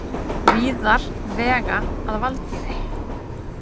Víðar, vega að valdýri.